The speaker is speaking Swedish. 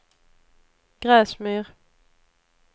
Gräsmyr